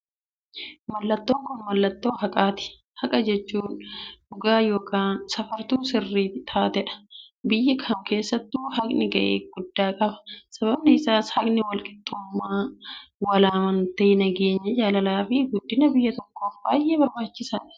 Mallattoon kun mallattoo haqaati. Haqa jechuun dhugaa yookiin safartuu sirrii taateedha. Biyya kam keessattuu, haaqni ga'ee guddaa qaba. Sababni isaas, Haaqni walqixxummaa, walamantee, nageenya, jaalalaafi guddina biyya tokkoof baay'ee barbaachisaadha.